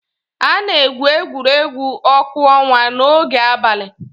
A na-egwu egwuregwu ọkụ ọnwa n'oge abalị.